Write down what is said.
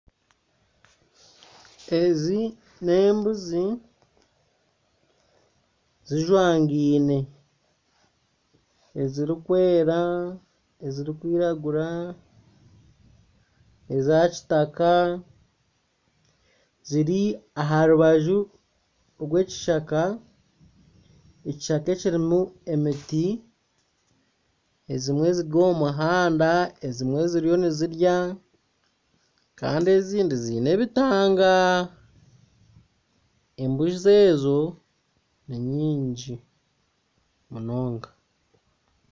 Ezi n'embuzi zijwangiine. Ezirikwera, ezirikwiragura, eza kitaka, ziri aha rubaju rw'ekishaka ekishaka ekirimu emiti. Ezimwe ziri omu muhanda, ezimwe ziriyo nizirya kandi ezindi ziine ebitanga. Embuzi ezo ni nyingi munonga